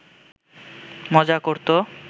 মজা করত